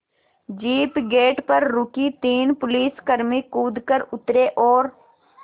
jeep gate पर रुकी तीन पुलिसकर्मी कूद कर उतरे और